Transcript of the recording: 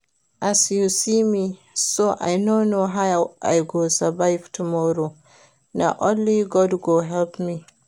As you see me so I no know how I go survive tomorrow, na only God go help me